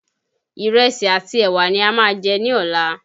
Ìrẹsì àti ẹ̀wà ni a máa jẹ ní ọ̀la